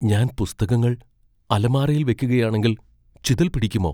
ഞാൻ പുസ്തകങ്ങൾ അലമാരയിൽ വെക്കുകയാണെങ്കിൽ ചിതൽ പിടിക്കുമോ?